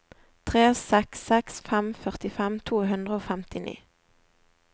tre seks seks fem førtifem to hundre og femtini